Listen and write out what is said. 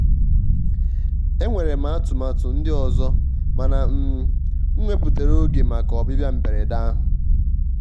enwere m atụmatụ ndị ọzọ mana um m wepụtara oge maka ọbịbịa mberede ahụ.